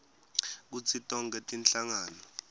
kutsi tonkhe tinhlangano